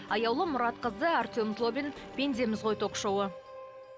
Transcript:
аяулым мұратқызы артем злобин пендеміз ғой ток шоуы